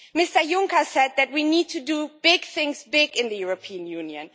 Mr Juncker said that we need to do big things big in the European Union.